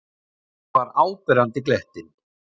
Hún var áberandi glettin.